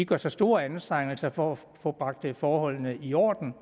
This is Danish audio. gør sig store anstrengelser for at få bragt forholdene i orden